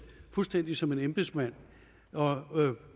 fuldstændig som en embedsmand og